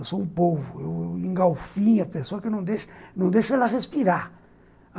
Eu sou um polvo, eu engolfinho a pessoa que não deixo, não deixo ela respirar.